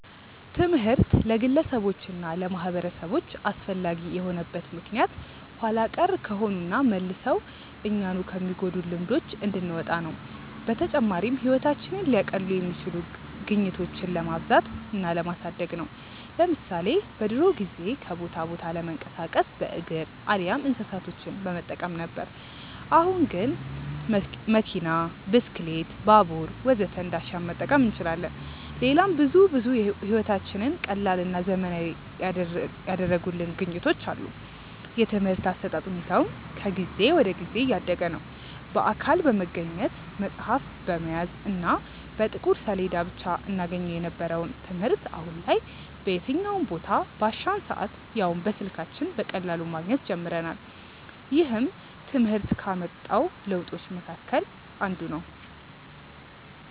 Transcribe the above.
ትምህርት ለግለሰቦች እና ለማህበረሰቦች አስፈላጊ የሆነበት ምክንያት ኋላ ቀር ከሆኑና መልሰው እኛኑ ከሚጎዱን ልማዶች እንድንወጣ ነው። በተጨማሪም ህይወታችንን ሊያቀሉ የሚችሉ ግኝቶችን ለማብዛት እና ለማሳደግ ነው። ለምሳሌ በድሮ ጊዜ ከቦታ ቦታ ለመንቀሳቀስ በእግር አሊያም እንስሳቶችን በመጠቀም ነበር። አሁን ግን መኪና፣ ብስክሌት፣ ባቡር ወዘተ እንዳሻን መጠቀም እንችላለን። ሌላም ብዙ ብዙ ህይወታችንን ቀላልና ዘመናዊ ያደረጉልን ግኝቶች አሉ። የትምርህት አሰጣጥ ሁኔታውም ከጊዜ ወደ ጊዜ እያደገ ነዉ። በአካል በመገኘት፣ መፅሀፍ በመያዝ እና በጥቁር ሰሌዳ ብቻ እናገኘው የነበረውን ትምህርት አሁን ላይ በየትኛውም ቦታ፣ ባሻን ሰአት ያውም በስልካችን በቀላሉ ማግኘት ጀምረናል። ይህም ትምህርት ካመጣው ለውጦች መሀከል አንዱ ነው።